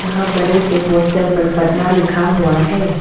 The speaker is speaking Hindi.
यहां बड़े से पोस्टर पर पटना लिखा हुआ है।